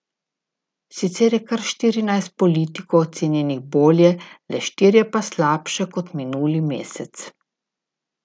Sicer je kar štirinajst politikov ocenjenih bolje, le štirje pa slabše kot minuli mesec.